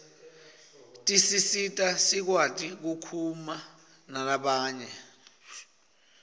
tisisita sikwati kukhuma nalabanye